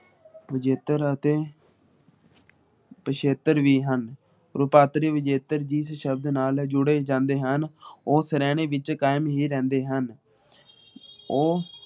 ਵਿਜੇਤਰ ਅਤੇ ਪੀਸ਼ੇਤਰ ਵੀ ਹਨ ਰੂਪਾਂਤਰੀ ਵਿਜੇਤਾਰ ਜਿਸ ਸ਼ਬਦ ਨਾਲ ਜੁੜੇ ਜਾਂਦੇ ਹਨ ਉਸ ਰਹਿਣੇ ਵਿਚ ਕਯਾਮ ਹੀ ਰਹਿੰਦੇ ਹਨ । ਉਹ